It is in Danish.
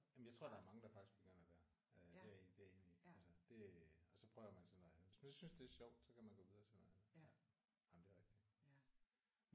Jamen jeg tror der er mange der faktisk begynder der. Øh det er det er jeg enig altså det og så prøver man så noget andet. Hvis man synes det er sjovt kan man gå videre til noget andet. Jamen det er rigtigt